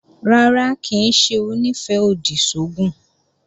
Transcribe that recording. Rárá, kì í ṣe Onífẹ́-òdì sí oògùn